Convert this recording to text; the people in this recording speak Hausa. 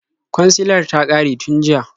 Kwansilar ta ƙare tun jiya.